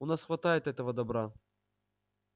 у нас хватает этого добра